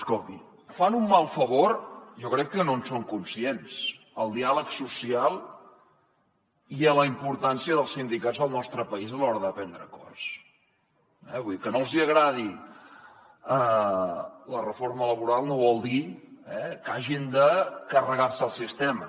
escolti fan un mal favor jo crec que no en són conscients al diàleg social i a la importància dels sindicats al nostre país a l’hora de prendre acords eh vull dir que no els hi agradi la reforma laboral no vol dir que hagin de carregar se el sistema